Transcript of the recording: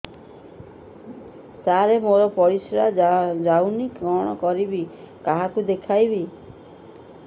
ସାର ମୋର ପରିସ୍ରା ଯାଉନି କଣ କରିବି କାହାକୁ ଦେଖେଇବି